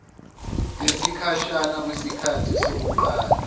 yesikhashana kwisikhathi sokuqala